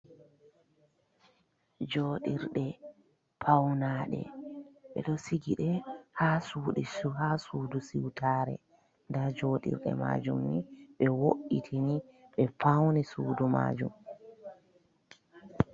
Joɗirɗe pauna ɗe, ɓe ɗo sigi ɗe ha sudu siutare, nda joɗirɗe majum ni ɓe wo’itinki, ɓe fauni sudu majum.